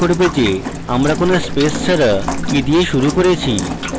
এটি মনে করবে যে আমরা কোনো স্পেস ছাড়া কি দিয়ে শুরু করেছি